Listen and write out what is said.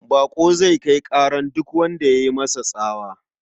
Baƙo zai kai ƙarar duk wanda ya yi masa tsawa.